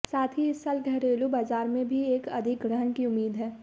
साथ ही इस साल घरेलू बाजार में भी एक अधिग्रहण की उम्मीद है